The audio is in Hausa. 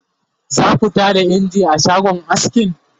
zaku Tada engine a shagon askin?